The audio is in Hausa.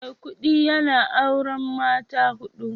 Maikudi yana auren mata hudu